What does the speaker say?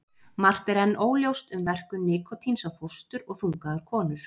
Margt er enn óljóst um verkun nikótíns á fóstur og þungaðar konur.